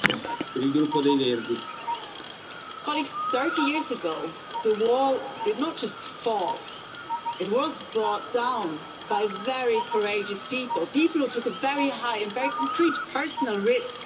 Mr President, thirty years ago, the Wall did not just fall, it was brought down by very courageous people, people who took a very high and very concrete personal risk.